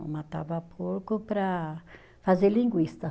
Matava porco para fazer linguiça.